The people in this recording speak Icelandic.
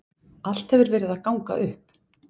Allt hefur verið að ganga upp.